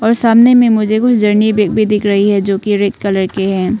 और सामने में मुझे कुछ जर्नी भी दिख रही हैं जो की रेड कलर के हैं।